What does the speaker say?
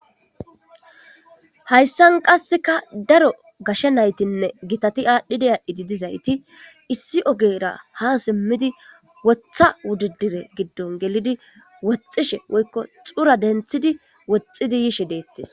Hayssan qasseka daro gashe naythinne giththathi adhidi adhidi dizayththi issi ogera ha simidi woththa wudidire gidon gelidi woxishin woykko xurra denthidi woxidi yishe dethes.